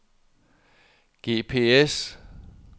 GPS